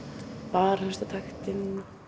bara hlusta á taktinn